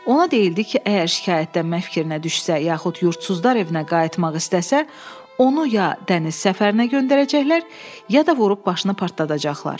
Ona deyildi ki, əgər şikayətlənmə fikrinə düşsə, yaxud yurdsuzlar evinə qayıtmaq istəsə, onu ya dəniz səfərinə göndərəcəklər, ya da vurub başını partladacaqlar.